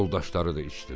Yoldaşları da içdilər.